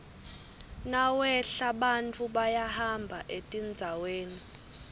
nawehla bantfu bayahamba etindzaweni